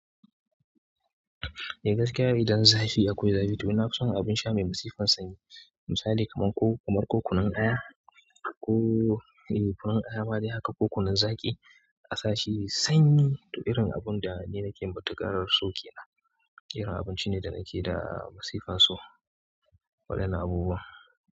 Eh gaskiya idan zafi akwai zafi to na fison abin sha mai masifan sanyi, misali kamar ko kunun aya kunun aya ma dai haka ko kunun zaƙi asashi yayi sanyi to irin abun da ni nake matuƙar so kenan irin abinci ne da nake da masifan so, waɗannan abubuwan.